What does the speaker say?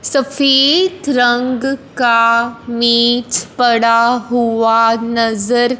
सफेद रंग का मेज पड़ा हुआ नज़र --